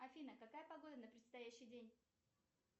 афина какая погода на предстоящий день